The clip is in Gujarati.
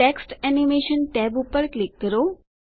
ટેક્સ્ટ એનિમેશન ટેબ પર ક્લિક કરો